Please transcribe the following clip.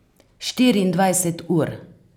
Štiriindvajset ur.